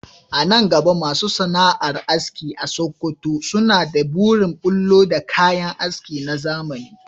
A nan gaba masu sana’ar aski a Sakkwato suna da burin bullo da kayan aski na zamani